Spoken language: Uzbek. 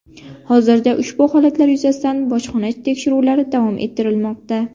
Hozirda ushbu holatlar yuzasidan bojxona tekshiruvlari davom ettirilmoqda.